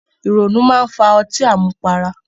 Ìrònú máa ń fa ọtí àmupara